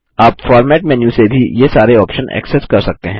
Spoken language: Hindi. आप फॉर्मेट मेन्यू से भी ये सारे आप्शन एक्सेस कर सकते हैं